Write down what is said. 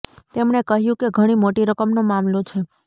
તેમણે કહ્યુ છે કે ઘણી મોટી રકમનો મામલો છે